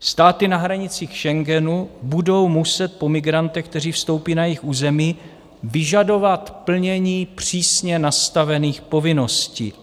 Státy na hranicích Schengenu budou muset po migrantech, kteří vstoupí na jejich území, vyžadovat plnění přísně nastavených povinností.